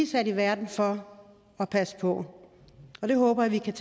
sat i verden for at passe på det håber jeg vi kan